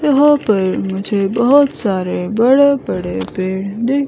यहां पर मुझे बहोत सारे बड़े बड़े पेड़ दिख--